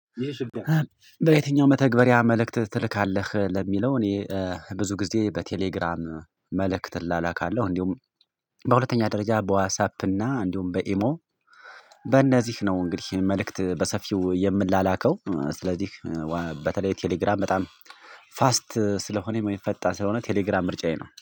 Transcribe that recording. በየትኛው መተግበሪያ መልእክት ትልካለህ ለሚለው? እኔ ብዙ ጊዜ በቴሌግራም መልእክት እላላካለሁ እንዲሁም በሁለተኛ ደረጃ በዋትሳፕ እና እንዲሁም በኢሞ። በእነዚህ ነው እንግዲህ መልእክት በሰፊው የምላላከው ስለዚህ። በተለይ ቴሌግራም በጣም ፋስት ስለሆነ ፈጣን ሳለሆን ቴሌግራም ምርጫዬ ነው